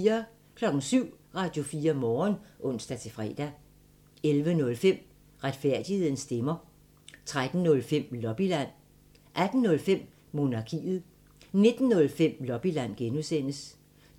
07:00: Radio4 Morgen (ons-fre) 11:05: Retfærdighedens stemmer 13:05: Lobbyland 18:05: Monarkiet 19:05: Lobbyland (G)